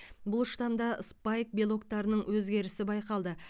бұл штамда спайк белоктарының өзгерісі байқалды